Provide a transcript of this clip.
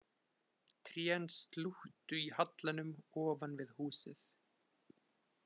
Trén slúttu í hallanum ofan við húsið